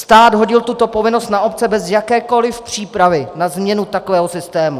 Stát hodil tuto povinnost na obce bez jakékoliv přípravy na změnu takového systému.